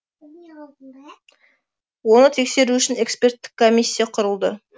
оны тексеру үшін эксперттік комиссия құрылды